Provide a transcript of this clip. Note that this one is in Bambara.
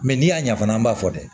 Mɛ n'i y'a ɲafan an b'a fɔ